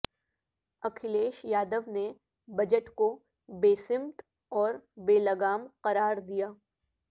اکھیلیش یادو نے بجٹ کو بے سمت اور بے لگام قرار دیا